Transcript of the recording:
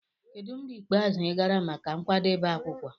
Kedu mgbe ikpeazụ ị gara maka nkwadebe akwukwo?